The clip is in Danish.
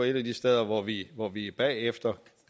et af de steder hvor vi hvor vi er bagefter